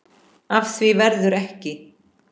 Af því verður ekki.